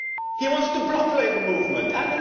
to be lower. He wants to block labour